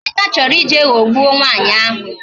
Emeka chọrọ ije ghọgbuo nwaanyị ahụ